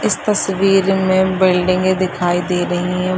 इस तस्वीर में बिल्डिंगे दिखाई दे रही हैं।